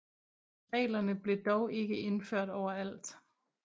Reglerne blev dog ikke indført overalt